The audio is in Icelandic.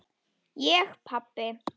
Ég pabbi!